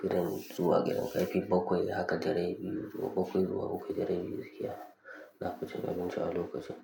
gidan zuwa gidan, karfe bakwai haka da rabi, zuwa bakwai zuwa bakwai da rabi, gaskiya nafi cin abinci a lokacin.